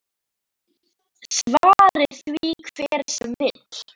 Svari því hver sem vill.